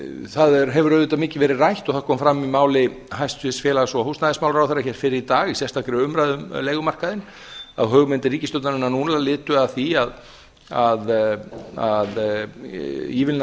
það hefur auðvitað mikið verið rætt og það kom fram í máli hæstvirts félags og húsnæðismálaráðherra hér fyrr í dag í sérstakri umræðu um leigumarkaðinn að hugmyndir ríkisstjórnarinnar nú er lituð af því að ívilna